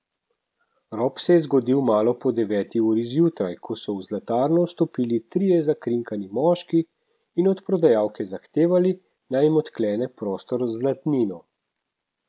Rop se je zgodil malo po deveti uri zjutraj, ko so v zlatarno vstopili trije zakrinkani moški in od prodajalke zahtevali, naj jim odklene prostor z zlatnino.